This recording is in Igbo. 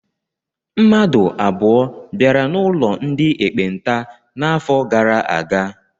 Mmadụ abụọ bịara n'ụlọ ndị ekpenta n'afọ gara aga.